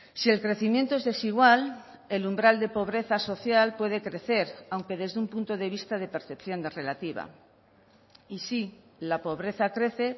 si el crecimiento es desigual el umbral de pobreza social puede crecer aunque desde un punto de vista de percepción relativa y sí la pobreza crece